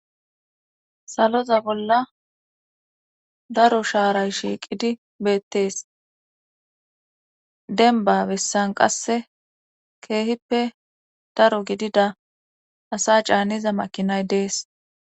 Saloza bolla daro shaaray shiiqidi beettees denbabessan qasse keehippe daro gidida asa caaniza makinay dees